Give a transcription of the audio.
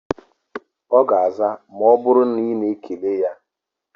Ọ ga-aza ma ọ bụrụ na ị na-ekele ya